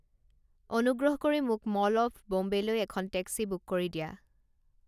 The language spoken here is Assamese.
অনুগ্ৰহ কৰি মোক ম'ল অৱ বোম্বেলৈ এখন টেক্সি বুক কৰি দিয়া